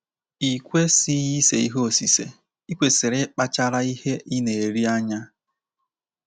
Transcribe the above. I kwesịghị ise ihe osise, i kwesịrị ịkpachara ihe ị na-eri anya.